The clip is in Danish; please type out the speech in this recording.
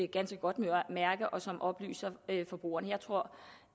ganske godt mærke og som oplyser forbrugerne jeg tror